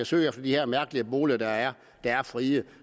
søge efter de her mærkelige boliger der er er frie